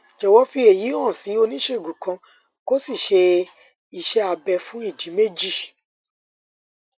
jọwọ fi èyí hàn sí oníṣègùn kan kó o sì ṣe iṣé abẹ fún ìdí méjì